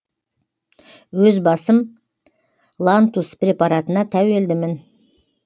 өз басым лантус препаратына тәуелдімін